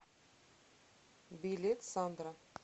билет сандра